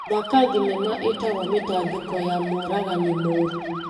Thaka thinema ĩtagwo mĩtangiko ya mũragani mũru .